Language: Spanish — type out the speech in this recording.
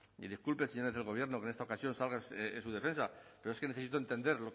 y disculpe señores del gobierno que en esta ocasión salga en su defensa pero es que necesito entender